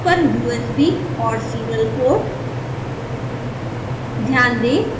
sbhs पर usb और serial port